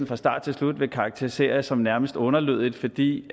fra start til slut karakterisere som nærmest underlødigt fordi